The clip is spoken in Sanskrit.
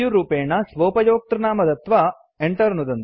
सु रूपेण स्वोपयोक्तृनाम दत्वा enter नुदन्तु